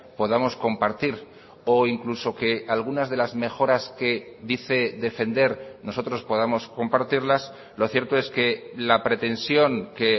podamos compartir o incluso que algunas de las mejoras que dice defender nosotros podamos compartirlas lo cierto es que la pretensión que